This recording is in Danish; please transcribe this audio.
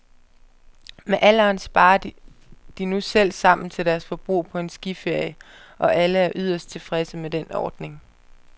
Med alderen sparer de nu selv sammen til deres forbrug på en skiferie, og alle er yderst tilfredse med den ordning.